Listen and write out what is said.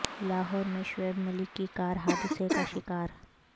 لاہور میں شعیب ملک کی کار حادثہ کا شکار